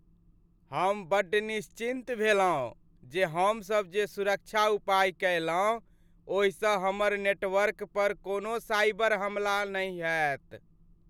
हम बड्ड निश्चिंत भेलहुं जे हमसभ जे सुरक्षा उपाय कयलहुँ ओहिसँ हमर नेटवर्क पर कोनो साइबर हमला नहि हेत ।